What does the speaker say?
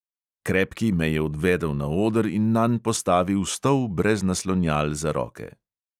Krepki me je odvedel na oder in nanj postavil stol brez naslonjal za roke.